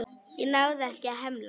Ég náði ekki að hemla.